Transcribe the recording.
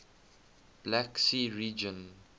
black sea region